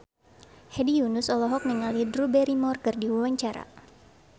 Hedi Yunus olohok ningali Drew Barrymore keur diwawancara